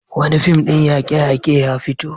Wani fim ɗin yaƙe-yaƙe ya fito.